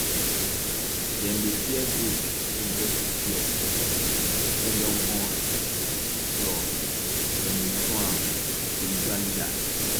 dem dey fear goat wey get 6 legs wey dem born plus dem dey show am to spiritual leaders